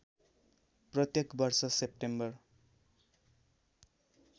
प्रत्येक वर्ष सेप्टेम्बर